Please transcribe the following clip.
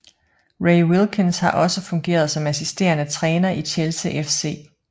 Ray Wilkins har også fungeret som assisterende træner i Chelsea FC